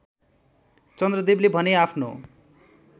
चन्द्रदेवले भने आफ्नो